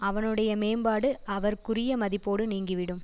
அவனுடைய மேம்பாடு அவர்க்குரிய மதிப்போடு நீங்கிவிடும்